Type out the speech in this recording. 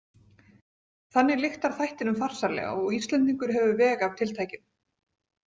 Þannig lyktar þættinum farsællega og Íslendingur hefur veg af tiltækinu.